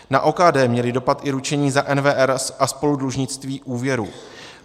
Na OKD měly dopad i ručení za NWR a spoludlužnictví úvěrů.